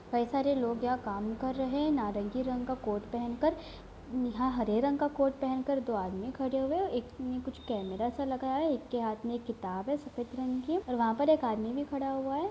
कई सारे लोग यहाँ पर काम कर रहे हैं नारंगी रंग का कोट पहन कर। यहाँ हरे रंग का कोट पहनकर दो आदमी खड़े हुए है। एक में कुछ कैमरा सा लगा है एक के हाथ में किताब है सफेद रंग की और वहाँ पे एक आदमी भी खड़ा हुआ है।